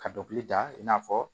Ka dɔkɔli da i n'a fɔ